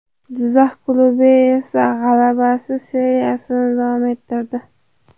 Jizzax klubi esa g‘alabasiz seriyasini davom ettirdi.